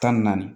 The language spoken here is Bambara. Tan ni naani